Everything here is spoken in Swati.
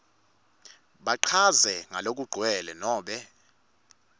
bachaze ngalokugcwele nobe